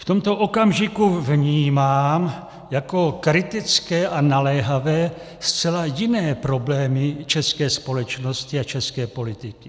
V tomto okamžiku vnímám jako kritické a naléhavé zcela jiné problémy české společnosti a české politiky.